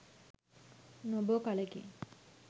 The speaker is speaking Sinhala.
නොබෝ කලකින්